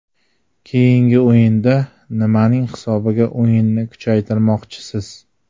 Keyingi o‘yinda nimaning hisobiga o‘yinni kuchaytirmoqchisiz?